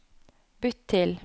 bytt til